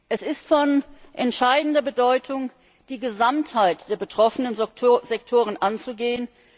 Es ist von entscheidender Bedeutung, die Gesamtheit der betroffenen Sektoren anzugehen.